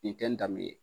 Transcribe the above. Nin tɛ n dan min ye